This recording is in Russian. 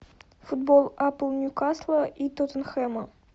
футбол апл ньюкасла и тоттенхэма